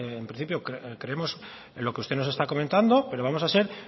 en principio creemos en lo que usted nos está comentado pero vamos a ser